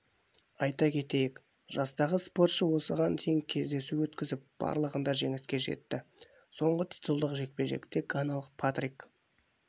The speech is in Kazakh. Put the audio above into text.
айта кетейік жастағы спортшы осыған дейін кездесу өткізіп барлығында жеңіске жетті соңғы титулдық жекпе-жекте ганалық патрик